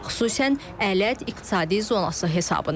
Xüsusən Ələt İqtisadi Zonası hesabına.